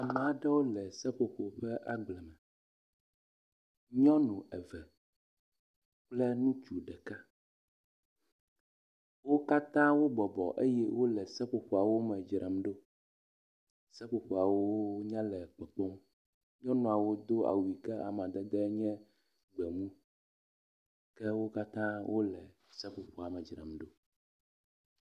Ame aɖewo le seƒoƒo ƒe agble me. Nyɔnu eve kple ŋutsu ɖeka. Wo katã wo bɔbɔ eye wo le seƒoƒoawo me dzram ɖo. Seƒoƒoawo nya le kpɔkpɔ. Nyɔnuawo do awu yi ke amadede nye gbemu ke wo katã wo le seƒoƒa me dzram ɖo.